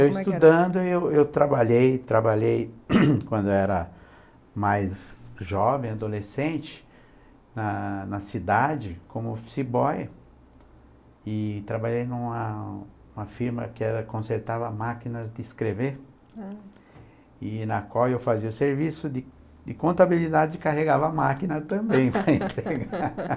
eu estudando, eu eu trabalhei, trabalhei quando eu era mais jovem, adolescente, na na cidade, como office boy, e trabalhei numa numa firma que era, que consertava máquinas de escrever, e na qual eu fazia o serviço de de contabilidade e carregava a máquina também